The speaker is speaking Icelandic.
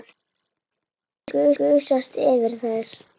Gusast yfir þær.